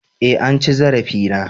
eh an ci zarafi na